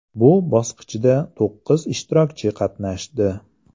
Bu bosqichda to‘qqiz ishtirokchi qatnashdi.